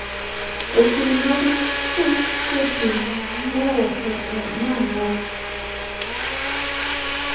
okil mar Hushpuppi ne owacho nang'o?